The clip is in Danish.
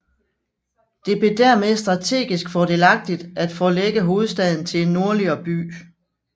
Det blev dermed strategisk fordelagtigt at forlægge hovedstaden til en nordligere by